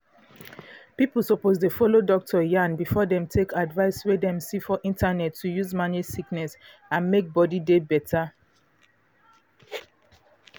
pipo suppose dey follow doctor yarn before dem take advice wey dem see for internet to use manage sickness and make body dey better.